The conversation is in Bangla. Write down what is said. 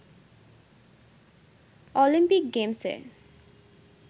অলিম্পিক গেমসে